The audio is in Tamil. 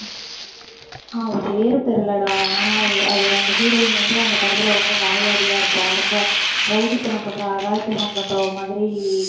அவ பேரு தெரியலடா. ஆனா, அ~ அது அந்த heroine வந்து அந்தப் படத்துல ரொம்ப வாயாடியா இருப்பா ரொம்ப rowdy த்தனம் பண்ற அராஜகம் பண்றவ மாதிரி